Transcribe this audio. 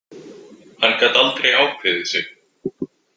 Hann gat aldrei ákveðið sig.